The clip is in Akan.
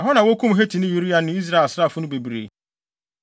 Ɛhɔ na wokum Hetini Uria ne Israel asraafo no bebree.